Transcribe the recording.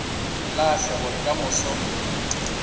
lahle gore ka moso go